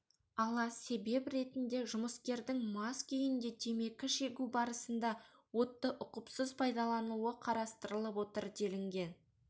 ала себеп ретінде жұмыскердің мас күйінде темекі шегу барысында отты ұқыпсыз пайдалануы қарастырылып отыр делінген